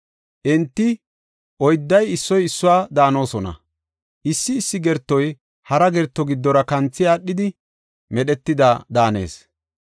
Enti oydday issoy issuwa daanosona; issi issi gertoy hara gerto giddora kanthi aadhidi medhetida daanees.